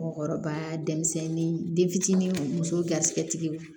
Mɔgɔkɔrɔba denmisɛnnin den fitinin muso garisigɛ tigi